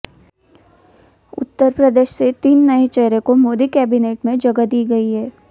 उत्तर प्रदेश से तीन नए चेहरे को मोदी कैबिनेट में जगह दी गई है